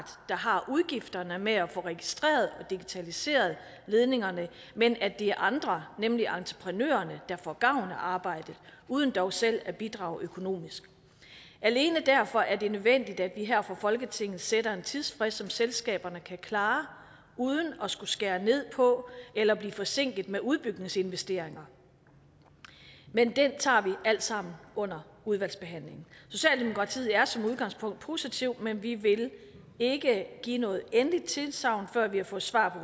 der har udgifterne med at få registreret og digitaliseret ledningerne men at det er andre nemlig entreprenørerne der får gavn af arbejdet uden dog selv at bidrage økonomisk alene derfor er det nødvendigt at vi her fra folketingets side sætter en tidsfrist som selskaberne kan klare uden at skulle skære ned på eller blive forsinket med udbygningsinvesteringer men det tager vi alt sammen under udvalgsbehandlingen socialdemokratiet er som udgangspunkt positive men vi vil ikke give noget endeligt tilsagn før vi har fået svar